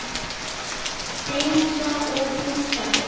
Hreinsa og pússa þig?